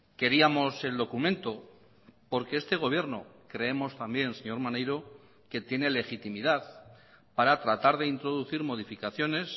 queríamos el documento porque este gobierno creemos también señor maneiro que tiene legitimidad para tratar de introducir modificaciones